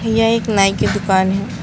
यह एक नाई की दुकान है।